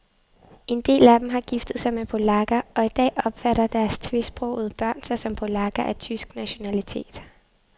En del af dem har giftet sig med polakker, og i dag opfatter deres tvesprogede børn sig som polakker af tysk nationalitet.